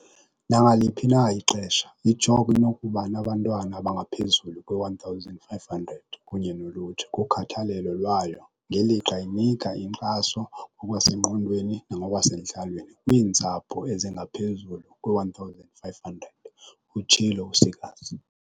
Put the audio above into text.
"Nangaliphi na ixesha, i-CHOC inokuba nabantwana abangaphezulu kwe-1 500 kunye nolutsha kukhathalelo lwayo, ngelixa inika inkxaso ngokwasengqondweni nangokwasentlalweni kwiintsapho ezingaphezulu kwe-1 500," utshilo u-Seegers.